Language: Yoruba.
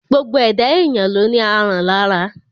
Gbogbo ẹ̀dá èyàn ló ní aràn lára.